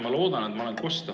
Ma loodan, et mind on kosta.